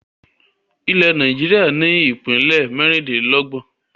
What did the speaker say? Ilẹ̀ Nàìjíríà ni ìpínlẹ́ mẹ́rindìnlọ́gbọ̀n